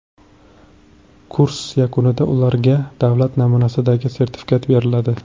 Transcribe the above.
Kurs yakunida ularga davlat namunasidagi sertifikat beriladi.